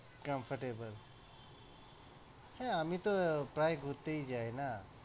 comfortable হ্যাঁ, আমিতো প্রায় ঘুরতেই যাই না।